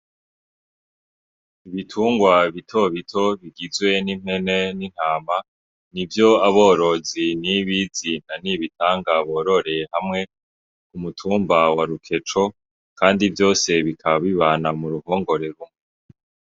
Ibitungwa bitobito bita bigizwe n'impene n'intama, nivyo aborozi nibizi na nibitanga bororeye hamwe ku mutumba wa rukeco kandi vyose bikaba bibana muruhongore rumwe.